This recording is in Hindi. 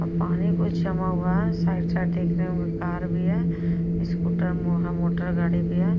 पानी बहुत जमा हुआ है। साइड - साइड देख रहे होंगे कार भी है। स्कूटर मोह मोटरगाड़ी भी है।